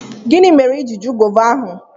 Gini mere i ji ju gova ahu?